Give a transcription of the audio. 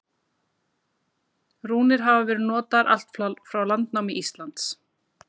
Rúnir hafa verið notaðar allt frá landnámi Íslands.